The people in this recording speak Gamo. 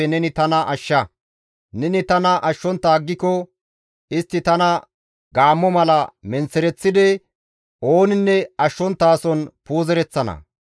Neni tana ashshontta aggiko, istti tana gaammo mala menththereththidi, ooninne ashshonttason puuzereththana.